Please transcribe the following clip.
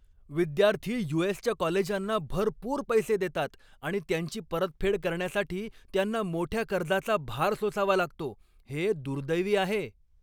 विद्यार्थी यू.एस.च्या कॉलेजांना भरपूर पैसे देतात आणि त्यांची परतफेड करण्यासाठी त्यांना मोठ्या कर्जाचा भार सोसावा लागतो हे दुर्दैवी आहे.